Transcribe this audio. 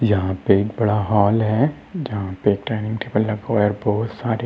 यहाँ पे एक बड़ा हाल है जहा पे डाइनिंग टेबल लगा हुआ है बहोत सारे।